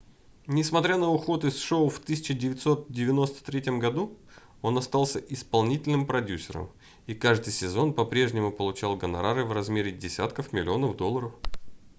несмотря на уход из шоу в 1993 году он остался исполнительным продюсером и каждый сезон по-прежнему получал гонорары в размере десятков миллионов долларов